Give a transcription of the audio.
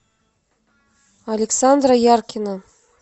александра яркина